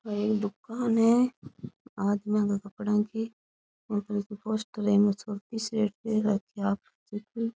एक दुकान है आदमिया के कपडा की --